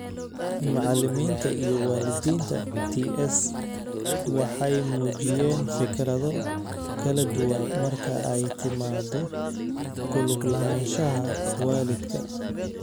Macalimiinta iyo waalidiinta ts waxay muujiyeen fikrado kala duwan marka ay timaado ku lug lahaanshaha waalidka.